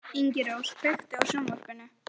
Ingirós, kveiktu á sjónvarpinu.